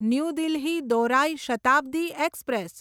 new Delhi દૌરાઈ Shatabdi express